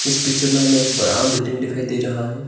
इस पिक्चर में हमें एक बड़ा बिल्डिंग दिखाई दे रहा है।